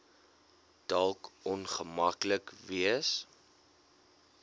dalk ongemaklik wees